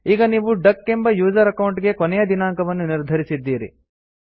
ಈಗ ನೀವು ಡಕ್ ಎಂಬ ಯೂಸರ್ ಅಕೌಂಟ್ ಗೆ ಕೊನೆಯ ದಿನಾಂಕವನ್ನು ನಿರ್ಧರಿಸಿದ್ದೀರಿ